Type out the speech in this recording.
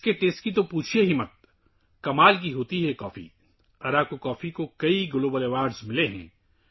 اس کے ذائقے کے بارے میں بھی مت پوچھو! یہ کافی حیرت انگیز ہے! اراکو کافی کو کئی عالمی اعزازات ملے ہیں